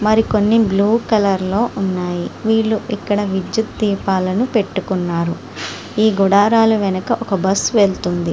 మరికొన్ని blue colour లో ఉన్నాయి. వీళ్ళు ఇక్కడ విద్యుత్ దీపాలను పెట్టుకున్నారు. ఈ గుడారాల వెనకాల ఒక బస్సు వెళుతుంది.